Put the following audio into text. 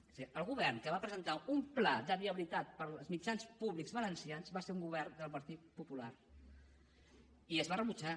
és a dir el govern que va presentar un pla de viabilitat per als mitjans públics valencians va ser un govern del partit popular i es va rebutjar